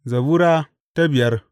Zabura Sura biyar